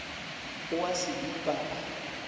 o a se dupa a